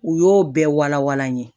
U y'o bɛɛ walawala n ye